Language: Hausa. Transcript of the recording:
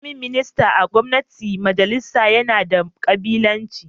Firayim Minista a gwamnatin majalisa yana da kabilanci